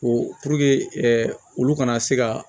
Ko olu kana se ka